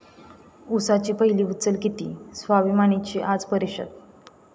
उसाची पहिली उचल किती? 'स्वाभिमानी'ची आज परिषद